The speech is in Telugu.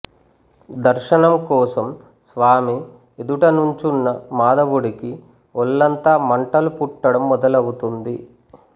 దర్శనం కోసం స్వామి ఎదుట నుంచున్న మాధవుడికి ఒళ్లంతా మంటలు పుట్టడం మొదలవుతుంది